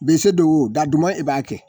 Be se don wo da dama e b'a kɛ